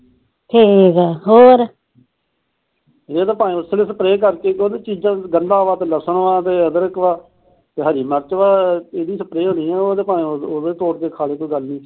ਜੇ ਸਪਰੇਹ ਕਰਦੀ ਉਹਦੀ ਚੀਜਾ ਚ ਗੰਡੀ ਆ ਲਸਣ ਆ ਅਦਰਕ ਆ ਹਰੀ ਮਿਰਚ ਆ ਉਹ ਤੇ